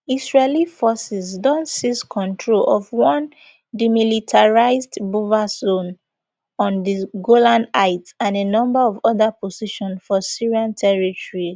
israeli forces don seize control of one demilitarised buffer zone on di golan heights and a number of oda positions for syrian territory